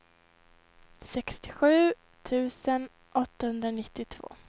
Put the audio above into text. sextiosju tusen åttahundranittiotvå